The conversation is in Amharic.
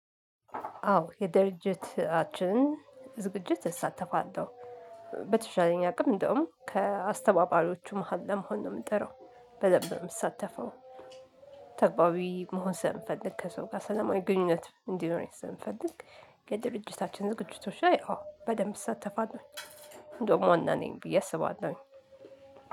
አዎ የድርጅትኣችን ዝግጅት እሳተፋለሁ በተሻለኝ አቅም እንደውም ከአስተባባሪዎቹ መሃል ለመሆን ነው የምጠራው በደንብ ነው የምሳተፈው። ተግባቢ መሆን ሰለምፈልግ ከሰው ጋር ሰላማዊ ግንኙነት እንዲኖረኝ ሰለምፈልግ የድርጅታችን ዝግጅቶች ላይ አዎ በደንብ እሳተፋለሁ። እንደውም ዋና ነኝ ብዬ አስባለሁኝ